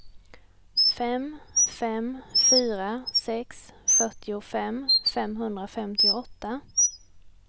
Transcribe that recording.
fem fem fyra sex fyrtiofem femhundrafemtioåtta